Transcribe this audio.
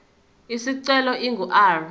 isicelo ingu r